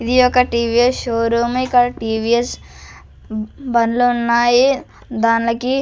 ఇది ఒక్క TVS showroom ఇక్కడ టీ_వీ_ఎస్ బండ్లు ఉన్నాయి దానికి.